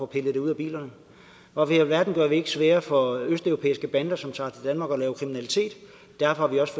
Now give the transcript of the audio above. pillet ud af bilerne hvorfor i alverden gør vi det ikke sværere for østeuropæiske bander som tager til danmark og laver kriminalitet derfor har vi også